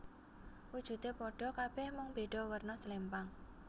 Wujude padha kabeh mung beda werna slempang